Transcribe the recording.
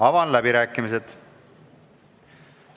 Avan läbirääkimised.